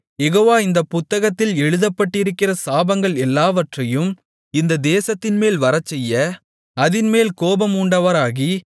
யெகோவா இந்தப் புத்தகத்தில் எழுதப்பட்டிருக்கிற சாபங்கள் எல்லாவற்றையும் இந்தத் தேசத்தின்மேல் வரச்செய்ய அதின்மேல் கோபம் மூண்டவராகி